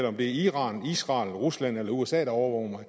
om det er iran israel rusland eller usa der overvåger mig